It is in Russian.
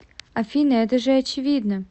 афина это же очевидно